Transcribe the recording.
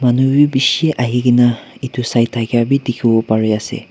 manubi beshi ahikena etu sai dakhiya bi dekhi bai ase.